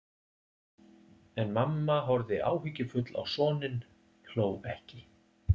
En mamma horfði áhyggjufull á soninn, hló ekki.